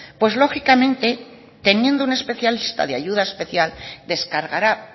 pues lógicamente teniendo un especialista de ayuda especial descargará